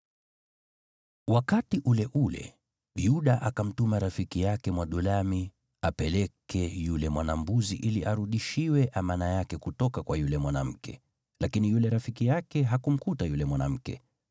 Wakati ule ule, Yuda akamtuma rafiki yake Mwadulami apeleke yule mwana-mbuzi ili arudishiwe amana yake kutoka kwa yule mwanamke, lakini yule rafiki yake hakumkuta yule mwanamke.